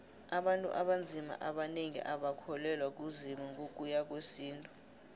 abantu abanzima abanengi abakholelwa kuzimu ngokuya ngowesintu